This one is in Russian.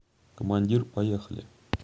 командир поехали